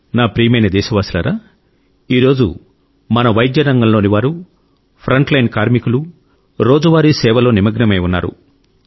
నా ప్రియమైన దేశవాసులారా ఈ రోజు మన వైద్య రంగంలోని వారు ఫ్రంట్లైన్ కార్మికులు రోజువారీ సేవా పనిలో నిమగ్నమై ఉన్నారు